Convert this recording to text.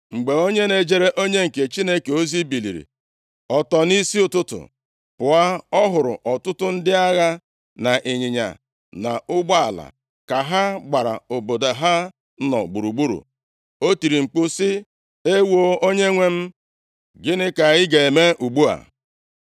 Mgbe onye na-ejere onye nke Chineke ozi biliri ọtọ nʼisi ụtụtụ pụọ, ọ hụrụ ọtụtụ ndị agha na ịnyịnya na ụgbọala, ka ha gbara obodo ha nọ gburugburu. O tiri mkpu sị, “Ewoo, onyenwe m, gịnị ka anyị ga-eme ugbu a?”